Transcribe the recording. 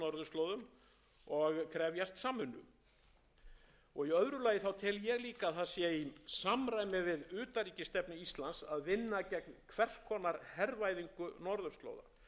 og krefjast samvinnu í öðru lagi tel ég líka að það sé í samræmi við utanríkisstefnu íslands að vinna gegn hvers konar hervæðingu norðurslóða ég tel að þær megi aldrei aftur verða